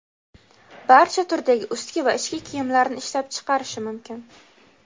barcha turdagi ustki va ichki kiyimlarni ishlab chiqarishi mumkin.